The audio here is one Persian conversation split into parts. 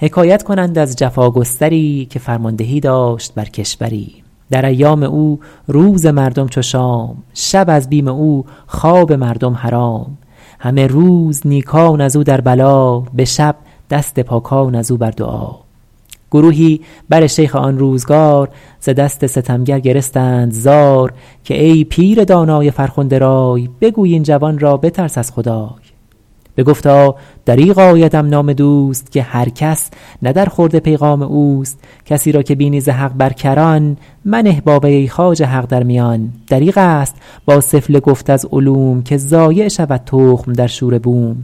حکایت کنند از جفاگستری که فرماندهی داشت بر کشوری در ایام او روز مردم چو شام شب از بیم او خواب مردم حرام همه روز نیکان از او در بلا به شب دست پاکان از او بر دعا گروهی بر شیخ آن روزگار ز دست ستمگر گرستند زار که ای پیر دانای فرخنده رای بگوی این جوان را بترس از خدای بگفتا دریغ آیدم نام دوست که هر کس نه در خورد پیغام اوست کسی را که بینی ز حق بر کران منه با وی ای خواجه حق در میان دریغ است با سفله گفت از علوم که ضایع شود تخم در شوره بوم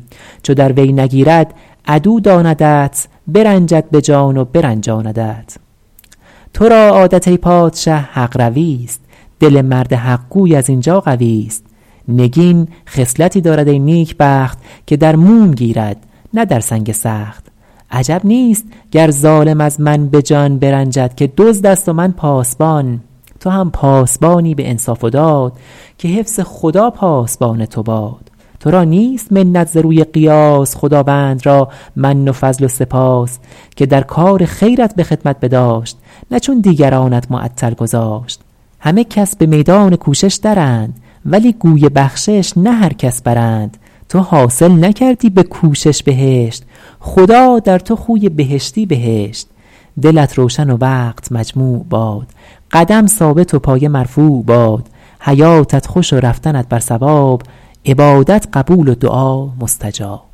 چو در وی نگیرد عدو داندت برنجد به جان و برنجاندت تو را عادت ای پادشه حق روی است دل مرد حق گوی از این جا قوی است نگین خصلتی دارد ای نیکبخت که در موم گیرد نه در سنگ سخت عجب نیست گر ظالم از من به جان برنجد که دزد است و من پاسبان تو هم پاسبانی به انصاف و داد که حفظ خدا پاسبان تو باد تو را نیست منت ز روی قیاس خداوند را من و فضل و سپاس که در کار خیرت به خدمت بداشت نه چون دیگرانت معطل گذاشت همه کس به میدان کوشش درند ولی گوی بخشش نه هر کس برند تو حاصل نکردی به کوشش بهشت خدا در تو خوی بهشتی بهشت دلت روشن و وقت مجموع باد قدم ثابت و پایه مرفوع باد حیاتت خوش و رفتنت بر صواب عبادت قبول و دعا مستجاب